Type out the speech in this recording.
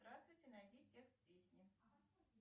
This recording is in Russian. здравствуйте найди текст песни